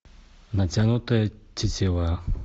натянутая тетива